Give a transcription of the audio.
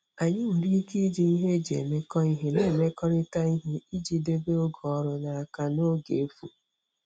Anyị nwere ike iji nhe eji emekọ ihe na-emekọrịta ihe iji debe oge ọrụ n'aka na oge efu.